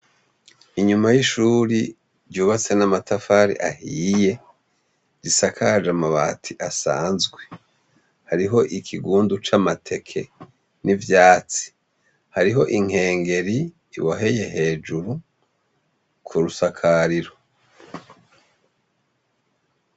Inyuma y'ishuri ryubatse n'amatafari ahiye risakaje amabati asanzwe hariho ikigundu c'amateke n'ivyatsi hariho inkengeri iboheye hejuru ku rusakariro.